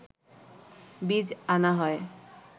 বীজ আনা হয়